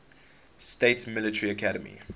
states military academy